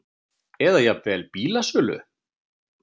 eða jafnvel bílasölu.